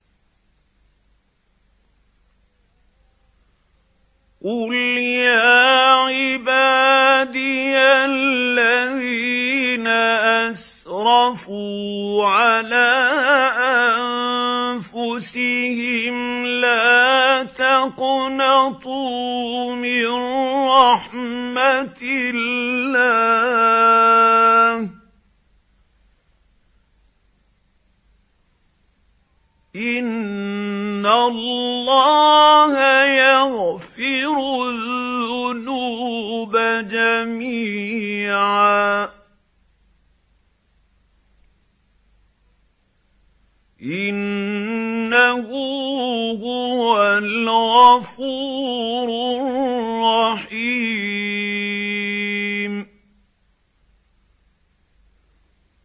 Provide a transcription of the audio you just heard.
۞ قُلْ يَا عِبَادِيَ الَّذِينَ أَسْرَفُوا عَلَىٰ أَنفُسِهِمْ لَا تَقْنَطُوا مِن رَّحْمَةِ اللَّهِ ۚ إِنَّ اللَّهَ يَغْفِرُ الذُّنُوبَ جَمِيعًا ۚ إِنَّهُ هُوَ الْغَفُورُ الرَّحِيمُ